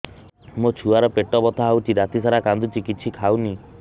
ମୋ ଛୁଆ ର ପେଟ ବଥା ହଉଚି ରାତିସାରା କାନ୍ଦୁଚି କିଛି ଖାଉନି